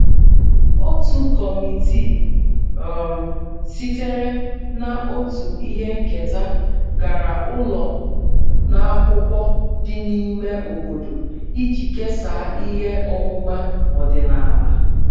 Otu kọmitii um sitere na otu ihe nketa gara ụlọ n'akwụkwọ dị n'ime obodo iji kesaa ihe ọmụma ọdịnala